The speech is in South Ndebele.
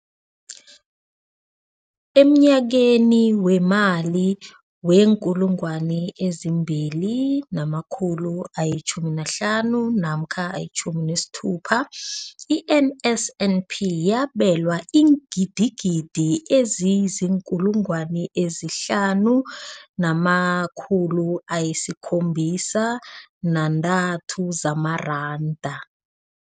Emnyakeni weemali we-2015 namkha 16, i-NSNP yabelwa iingidigidi ezi-5 703 zamaranda.